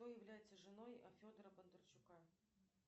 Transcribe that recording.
кто является женой федора бондарчука